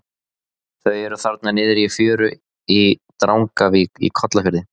Þau eru þarna niðri í fjöru í Drangavík í Kollafirði.